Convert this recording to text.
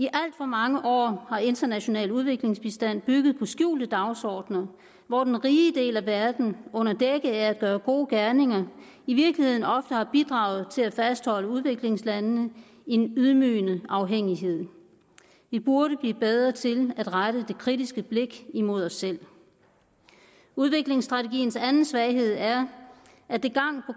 for mange år har international udviklingsbistand bygget på skjulte dagsordener hvor den rige del af verden under dække af at gøre gode gerninger i virkeligheden ofte har bidraget til at fastholde udviklingslandene i en ydmygende afhængighed vi burde blive bedre til at rette det kritiske blik imod os selv udviklingsstrategiens anden svaghed er at det